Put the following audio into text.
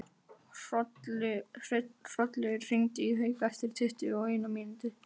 Hrollaugur, hringdu í Hauk eftir tuttugu og eina mínútur.